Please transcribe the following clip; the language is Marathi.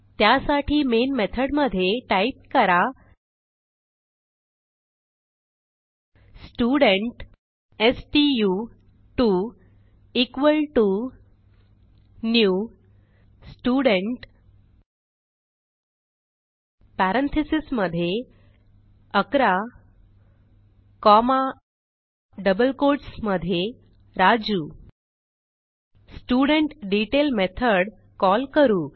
त्यासाठी मेन मेथडमधे टाईप करा स्टुडेंट स्टू2 equal T O new student parentheses मधे 11 कॉमा डबल कोट्स मधे राजू स्टुडेंटडेतैल मेथड कॉल करू